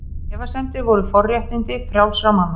Efasemdir voru forréttindi frjálsra manna.